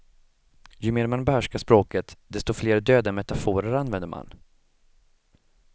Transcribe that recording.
Ju mer man behärskar språket, desto fler döda metaforer använder man.